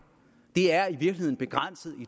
det er